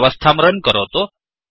व्यवस्थांrunरन् करोतु